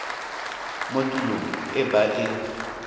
mo tulong e ba e